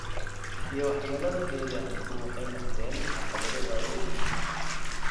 iyo waxyeelada deegaanku waxay noqdeen caqabado waaweyn.